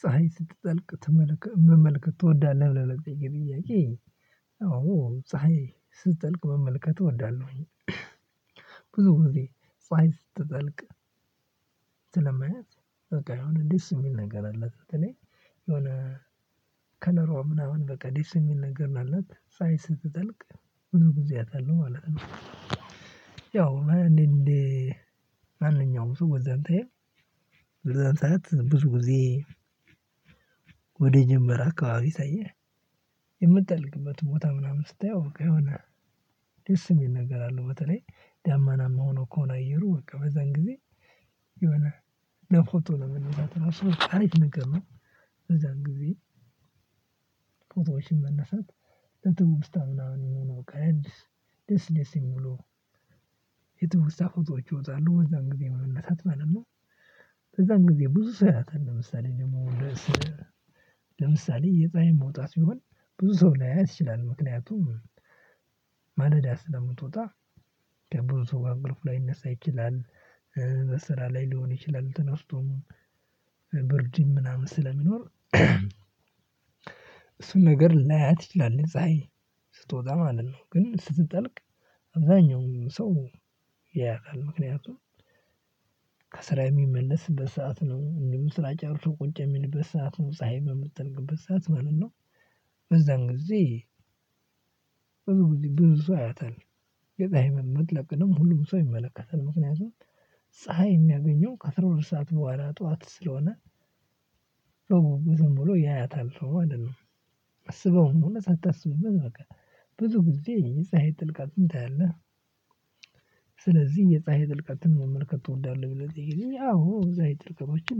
ፀሀይ ስትጠልቅ ትመለከት መመልከት ትወዳለህ ብለህ ለጠየከኝ ጥያቄ? አዎ ፀሀይ ስትጠልቅ መመልከት እወዳለሁኝ። ብዙ ጊዜ ፀሀይ ስትጠልቅ ስለማያት በቃ የሆነ ደስ የሚል ነገር አለ። በተለይ የሆነ ከለሯ ምናምን በቃ ዲሲ የሚል ነገር አላት ጽሃይ ስትጠልቅ ሁሉ ጊዜ አያታለው ማለት ነው። ያው እንዴ ማንኛውም ሰው በዛን ታይም በዛን ሰዓት ብዙ ጊዜ። ወደ ጀመረ አካባቢ ሳየህ የምትጠልቅበት ቦታ ምናምን ስታየው የሆነ ደስ የሚል ነገር አለ። በተለይ ዳመናም ሆኖ ከሆነ አየሩ በቃ በዛን ጊዜ የሆነ ለፎቶ ነው የምንለው ቀሪት ነገር ነው። እዛን ጊዜ ፎቶዎችን መነሳት ለትውስታ ምናምን የሚሆኑ አዲስ ደስ ደስ የሚሉ የትውስታ ፎቶዎች ይወጣሉ በዛን ጊዜ መነሳት ማለት ነው። በዛን ጊዜ ብዙ ሰው ያያታል። ለምሳሌ ደግሞ ለምሳሌ የፀሀይ መውጣት ሲሆን ብዙ ሰው ላያያት ይችላል። ምክንያቱም ማለዳ ስለምትወጣ ከብዙ ሰው ጋር እንቅልፍ ላይነሳ ይችላል። በስራ ላይ ሊሆን ይችላል ተነስቶም ብርድም ምናምን ስለሚኖር። እሱን ነገር ላያት ይችላል ፀሀይ ስትወጣ ማለት ነው። ግን ስትጠልቅ አብዛኛው ሰው ያያታል ምክንያቱም ከስራ የሚመለስበት ሰዓት ነው። እንደሁም ስራ ጨርሶ ቁጭ የሚልበት ሰዓት ነው ፀሀይ በምትጠልቅበት ሰዓት ማለት ነው። በዛን ጊዜ ጊዜ ብዙ ሰው ያያታል። የጣይምን መጥለቅንም ሁሉም ሰው ይመለከታል ምክንያቱም ፀሀይ የሚያገኘው ከአስራ ሁለት ሰዓት በኋላ ጠዋት ስለሆነ። ዝም ብሎ ያያታል አይደለም አስበውም ሆነ ሳታስብበት በቃ ብዙ ጊዜ የጸሃይን ጥልቀትን ታያለህ። ስለዚህ የፀሀይ ጥልቀትን መመልከት እወዳለሁ ብለው ሲጠይቁኝ አዎ ዛይ ጥልቀቶችን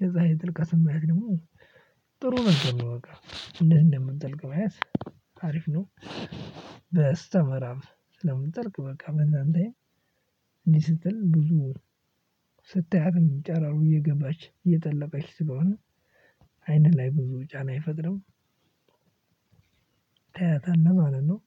የጽሃይ ጥልቀትን ማየት ደግሞ ጥሩ ነበር። በቃ እንዴት እንደምትጠልቅ ማየት አሪፍ ነው። በስተመራብ ስለምትጠልቅ በቃ በዛን ታይም እንዲህ ስትል ብዙ ስታያት ጨራሩ እየገባች እየጠለቀች ስለሆነ አይን ላይ ብዙ ጫና አይፈጥርም። ታያታለህ ማለት ነው።